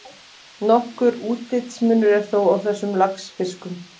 Nokkur útlitsmunur er þó á þessum laxfiskum.